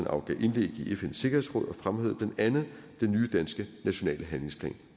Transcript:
afgav indlæg i fns sikkerhedsråd og fremhævede blandt andet den nye danske nationale handlingsplan